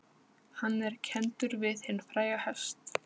Hann er kenndur við hinn fræga hest